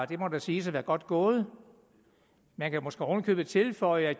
det må da siges at være godt gået man kan måske oven i købet tilføje at